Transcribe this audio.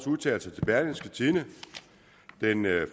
udtalelser til berlingske tidende den